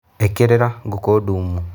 Ĩkĩrĩra ngũkũ dumu.